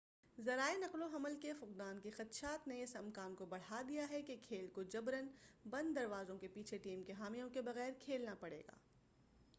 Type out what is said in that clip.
ذرائع نقل و حمل کے فقدان کے خدشات نے اس امکان کو بڑھا دیا ہے کہ کھیل کو جبراً بند دروازوں کے پیچھے ٹیم کے حامیوں کے بغیر کھیلنا پڑے گا